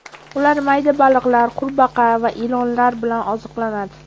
Ular mayda baliqlar, qurbaqa va ilonlar bilan oziqlanadi.